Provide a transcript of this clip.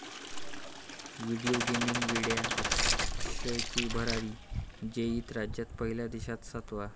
Video gaming वेड्या अक्षयची भरारी, जेईईत राज्यात पहिला देशात सातवा!